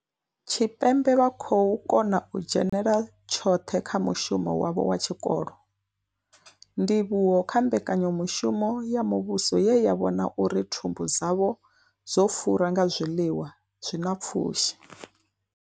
Tshipembe vha khou kona u dzhenela tshoṱhe kha mushumo wavho wa tshikolo, ndivhuwo kha mbekanyamushumo ya muvhuso ye ya vhona uri thumbu dzavho dzo fura nga zwiḽiwa zwi na pfushi.